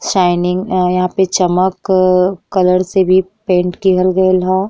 Shining अ यहाँ पे चमकक् कलर से भी पेंट किहल गइल ह।